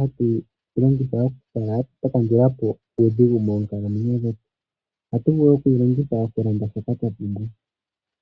hatu yi longitha okukala twa kandula po uudhigu moonkalamwenyo dhetu. Ohatu vulu oku yi longitha okulanda shoka twa pumbwa.